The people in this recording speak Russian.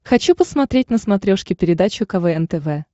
хочу посмотреть на смотрешке передачу квн тв